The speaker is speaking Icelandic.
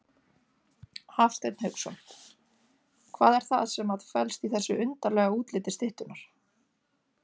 Hafsteinn Hauksson: Hvað er það sem að felst í þessu undarlega útliti styttunnar?